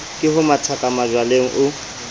ke ho mathakaka majwaleng o